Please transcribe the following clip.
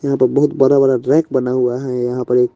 यहाँ पर बहुत बरा - बरा रैक बना हुआ है यहाँ पर एक --